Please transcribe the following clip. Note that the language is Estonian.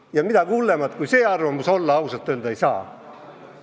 Ja midagi hullemat kui see arvamus olla ausalt öeldes ei saa.